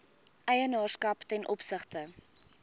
eienaarskap ten opsigte